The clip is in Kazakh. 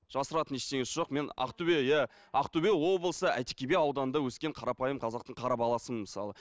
жасыратын ештеңесі жоқ мен ақтөбе иә ақтөбе облысы әйтеке би ауданында өскен қарапайым қазақтың қара боласымын мысалы